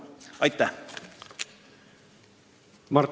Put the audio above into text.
Aitäh!